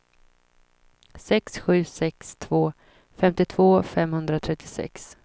sex sju sex två femtiotvå femhundratrettiosex